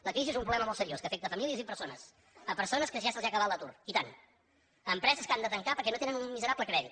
la crisi és un problema molt seriós que afecta famílies i persones persones a qui ja se’ls ha acabat l’atur i tant empreses que han de tancar perquè no tenen ni un miserable crèdit